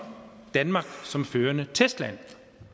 danmark som førende testland